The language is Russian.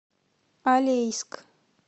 алейск